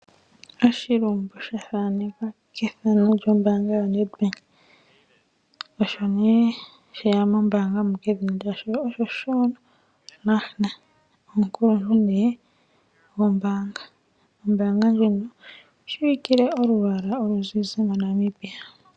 Oshilumbu sha thanekwa kethano lyombaanga yoNedbank. Osho nduno she ya mombaanga edhina lye oShaun Lahner. Oye omukuluntu gombaanga. Ombaanga ndjino oyi shiwikile olwaala oluzizi moNamibia.